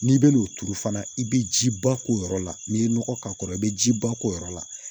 N'i bɛn n'o turu fana i bɛ jiba k'o yɔrɔ la n'i ye nɔgɔ k'a kɔrɔ i bɛ jiba k'o yɔrɔ la